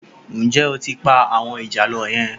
Ǹjẹ́ o tí ń pa àwọn ìjàlọ yẹn?